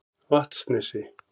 Vatnsnesi